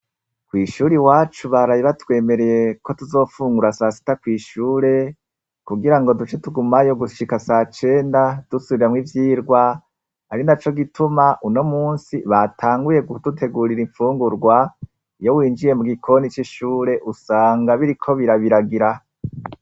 Kw'ishuri iwacu baraye batwemereye ko tuzofungura sa sita kw'ishure, kugira ngo duce tugumayo gushika sacenda, dusubiramwo ivyirwa, Ari naco gituma uno munsi batanguye gudutegurira imfungurwa. Iyo winjiye mu gikoni c'ishure, usanga biriko birabiragira.